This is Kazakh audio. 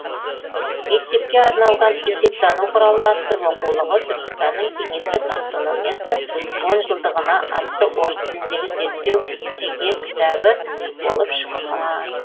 мектепке арналған есептану құралы атты оқулығы түркістанның кеңестік автономиясының он жылдығына атты орыс тіліндегі зерттеуі жеке кітабы болып шыққан